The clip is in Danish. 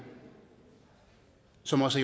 som også